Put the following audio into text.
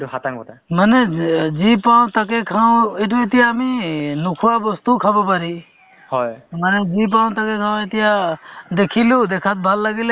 to মানে আগবঢ়াই যে কাৰণ তেওঁলোক daily তেনেকুৱা মাহত মানে daily বুলি ক'ব নোৱাৰি মাহত তেওঁলোক দুবাৰ তিনিবাৰকে তেনেকে সজাগতা সভা পাতে